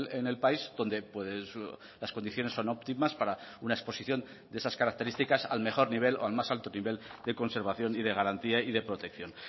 en el país donde las condiciones son óptimas para una exposición de esas características al mejor nivel o al más alto nivel de conservación y de garantía y de protección